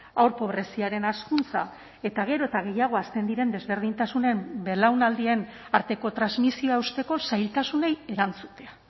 haur pobreziaren hazkuntza eta gero eta gehiago hazten diren desberdintasunen belaunaldien arteko transmisioa hausteko zailtasunei erantzutea